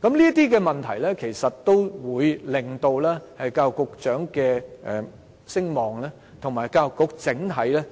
這些問題其實也令教育局局長的聲望及教育局的整體